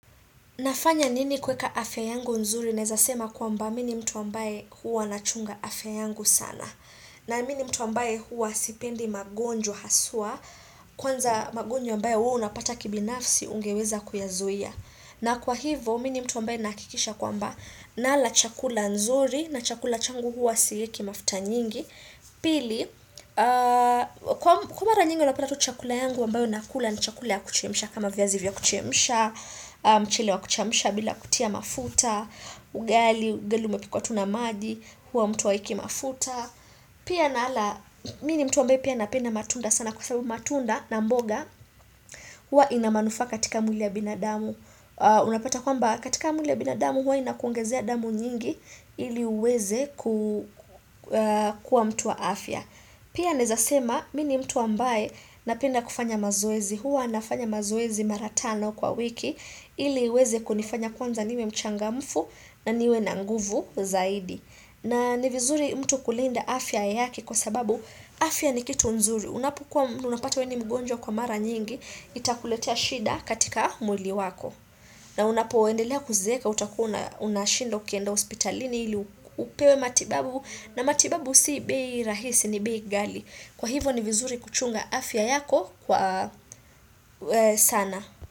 Nafanya nini kueka afya yangu nzuri, naeza sema kwamba mimi ni mtu ambaye huwa nachunga afya yangu sana. Na mini mtu ambaye huwa sipendi magonjwa haswa, kwanza magonjwa ambaye huwa unapata kibinafsi ungeweza kuyazuia. Na kwa hivo, mi ni mtu ambaye nahakikisha kwamba, nala chakula nzuri, na chakula changu huwa sieki mafuta nyingi. Pili, kwa mara nyingi unapata tu chakula yangu ambayo nakula ni chakula ya kuchemsha kama viazi vya kuchemsha, mchele wa kuchemsha bila kutia mafuta Ugali, ugali umepikwa tu na maji, huwa mtu haeiki mafuta pia nala, mi ni mtu ambaye pia napenda matunda sana Kwa sababu matunda na mboga, huwa ina manufaa katika mwili ya binadamu. Unapata kwamba katika mwili ya binadamu huwa inakuongezea damu nyingi ili uweze ku kuwa mtu wa afya Pia naeza sema, mi ni mtu ambaye napenda kufanya mazoezi, huwa nafanya mazoezi mara tano kwa wiki, ili iweze kunifanya kwanza niwe mchangamfu na niwe na nguvu zaidi. Na ni vizuri mtu kulinda afya yake kwa sababu afya ni kitu nzuri, unapokuwa unapata wewe ni mgonjwa kwa mara nyingi, itakuletea shida katika mwili wako. Na unapoendelea kuzeeka utakuwa una unashinda ukienda hospitalini ili upewe matibabu na matibabu si bei rahisi ni bei ghali. Kwa hivo ni vizuri kuchunga afya yako kwa sana.